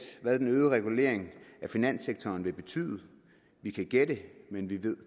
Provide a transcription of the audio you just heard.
hvad den øgede regulering af finanssektoren vil betyde vi kan gætte men vi ved